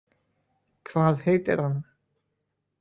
Hvað heitir hann?